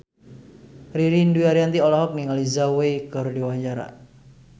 Ririn Dwi Ariyanti olohok ningali Zhao Wei keur diwawancara